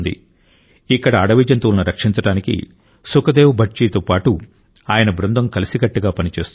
ఇక్కడ అడవి జంతువులను రక్షించడానికి సుఖ్దేవ్ భట్ జీ తో పాటు ఆయన బృందం కలిసికట్టుగా పని చేస్తోంది